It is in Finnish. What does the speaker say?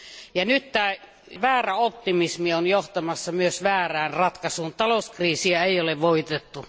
Ja nyt tämä väärä optimismi on johtamassa myös väärään ratkaisuun. Talouskriisiä ei ole voitettu.